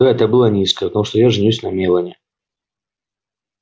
да это было низко потому что я женюсь на мелани